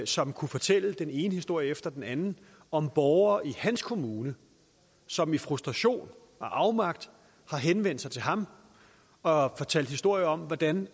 som kunne fortælle den ene historie efter den anden om borgere i hans kommune som i frustration og afmagt har henvendt sig til ham og fortalt historier om hvordan